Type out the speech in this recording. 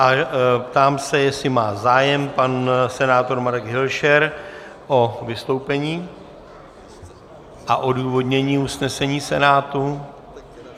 A ptám se, jestli má zájem pan senátor Marek Hilšer o vystoupení a o odůvodnění usnesení Senátu.